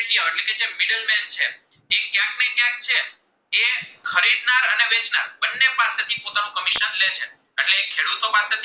ખેડૂતો પાસે થી